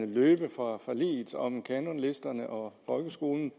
løbe fra forliget om kanonlisterne og folkeskolen